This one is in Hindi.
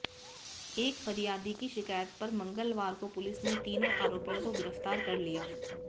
एक फरियादी की शिकायत पर मंगलवार को पुलिस ने तीनों आराेपियों को गिरफ्तार कर लिया